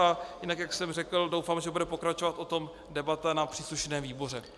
A jinak, jak jsem řekl, doufám, že bude pokračovat o tom debata na příslušném výboru.